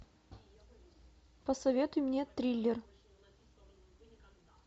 посоветуй мне триллер